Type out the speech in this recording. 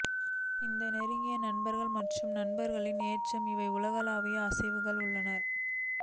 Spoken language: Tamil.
இந்த நெருங்கிய நண்பர்கள் மற்றும் நண்பர்களின் ஏற்றது இவை உலகளாவிய ஆசைகள் உள்ளன